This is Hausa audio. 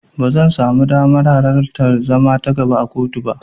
Ba zan samu damar alartar zama ta gaba a kotu ba.